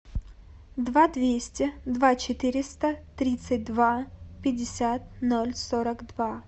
два двести два четыреста тридцать два пятьдесят ноль сорок два